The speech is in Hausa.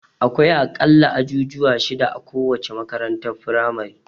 Akwai a ƙalla ajujuwa shida a kowace makarantar firamare.